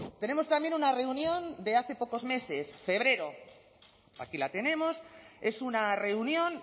tenemos también una reunión de hace pocos meses febrero aquí la tenemos es una reunión